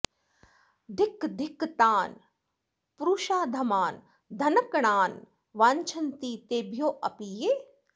धिक् धिक् तान् पुरुषाधमान् धनकणान् वाञ्च्छन्ति तेभ्योऽपि ये